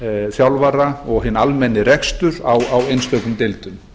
þjálfara og hinn almenni rekstur á einstökum deildum